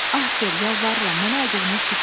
Ah Sir, yalvarıram, mənə acığınız tutmasın.